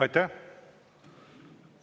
Aitäh!